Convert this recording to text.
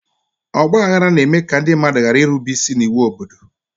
Ọgba aghara na-eme ka ndị mmadụ ghara irube isi n'iwu obodo.